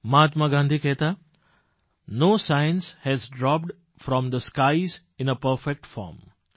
મહાત્મા ગાંધી કહેતા no science has dropped from the skies in a perfect form